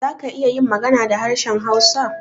Za ka iya yin magana da harshen hausa?